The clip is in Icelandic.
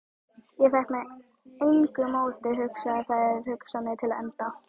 Ég fékk með engu móti hugsað þær hugsanir til enda.